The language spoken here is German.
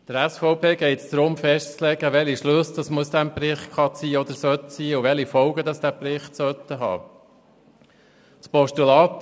Der SVP geht es darum festzulegen, welche Schlüsse aus diesem Bericht gezogen werden können und welche Folgen dieser Bericht haben soll.